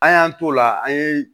An y'an t'o la an ye